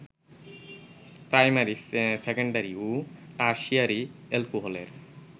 primary, secondary ও tertiary অ্যালকোহলের